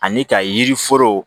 Ani ka yiri foro